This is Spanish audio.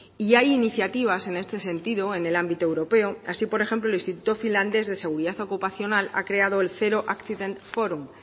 y hay iniciativas en este sentido en el ámbito europeo así por ejemplo el instituto finlandés de seguridad ocupacional ha creado el zero accident forum